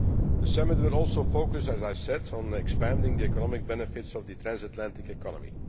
The Summit will also focus, as I said, on expanding the economic benefits of the transatlantic economy.